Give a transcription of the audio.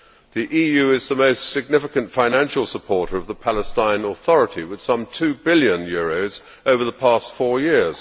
The EU is the most significant financial supporter of the Palestinian Authority, with some EUR 2 billion over the past four years.